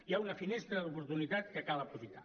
hi ha una finestra d’oportunitat que cal aprofitar